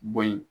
Bo yen